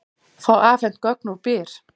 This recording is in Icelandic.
Fá afhent gögn úr Byr